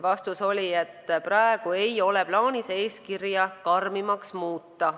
Vastus oli, et praegu ei ole plaanis eeskirja karmimaks muuta.